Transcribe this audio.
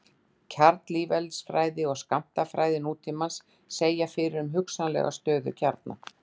kjarneðlisfræði og skammtafræði nútímans segja fyrir um hugsanlega stöðuga kjarna